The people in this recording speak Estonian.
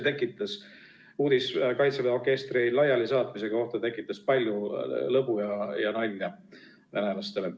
Kaitseväe orkestri laialisaatmise uudis tegi venelastele palju lõbu ja nalja.